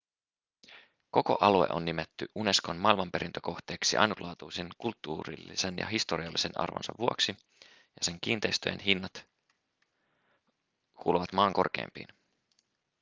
koko alue on nimetty unescon maailmanperintökohteeksi ainutlaatuisen kulttuurillisen ja historiallisen arvonsa vuoksi ja sen kiinteistöjen hinnat kuuluvat maan korkeimpiin